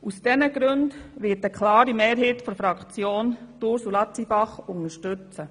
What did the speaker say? Aus diesen Gründen wird eine klare Mehrheit der Fraktion Ursula Zybach unterstützen.